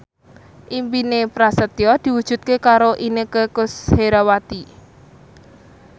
impine Prasetyo diwujudke karo Inneke Koesherawati